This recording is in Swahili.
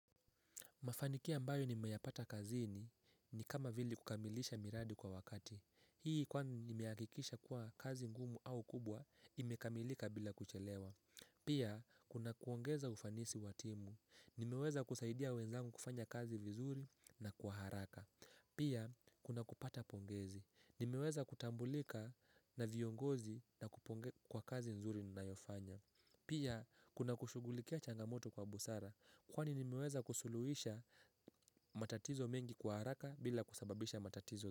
Mafanikia mbayo nimeyapata kazini ni kama vile kukamilisha miradi kwa wakati. Hii kwani imehakikisha kuwa kazi ngumu au kubwa, imekamilika bila kuchelewa. Pia, kuna kuongeza ufanisi watimu. Nimeweza kusaidia wenzangu kufanya kazi vizuri na kuharaka. Pia, kuna kupata pongezi. Nimeweza kutambulika na viongozi na kuponge kwa kazi nzuri ninayofanya. Pia, kuna kushugulikia changamoto kwa busara. Kwani nimeweza kusuluisha matatizo mengi kwa haraka bila kusababisha matatizo.